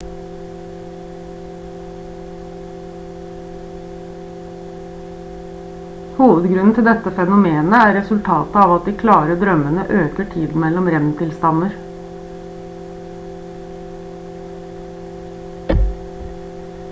hovedgrunnen til dette fenomenet er resultatet av at de klare drømmene øker tiden mellom rem-tilstander